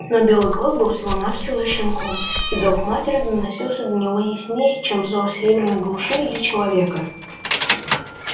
но белый клык был всего навсего щенком и зов матери доносился до него яснее чем зов северной глуши или человека